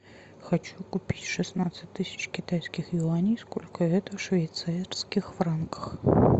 хочу купить шестнадцать тысяч китайских юаней сколько это в швейцарских франках